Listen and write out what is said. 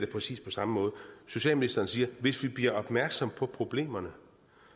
præcis samme måde socialministeren siger hvis vi bliver opmærksom på problemerne